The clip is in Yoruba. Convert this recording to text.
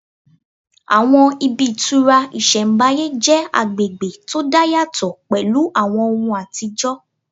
Àwọn ibi ìtura ìsẹ̀mbáyé jẹ́ agbègbè tó dá yàtọ̀ pẹ̀lú àwọn ohùn àtijọ́